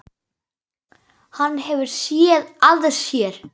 Hann hefur SÉÐ AÐ SÉR.